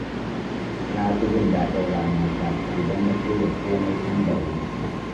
Na fi jin daɗin rana ta idan na shirya komai tun da wuri.